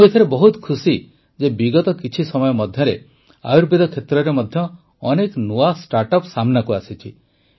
ମୁଁ ଏଥିରେ ବହୁତ ଖୁସି ଯେ ବିଗତ କିଛି ସମୟ ମଧ୍ୟରେ ଆୟୁର୍ବେଦ କ୍ଷେତ୍ରରେ ମଧ୍ୟ ଅନେକ ନୂଆ ଷ୍ଟାର୍ଟଅପ୍ ସାମ୍ନାକୁ ଆସିଛି